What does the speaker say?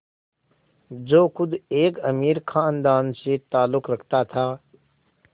जो ख़ुद एक अमीर ख़ानदान से ताल्लुक़ रखता था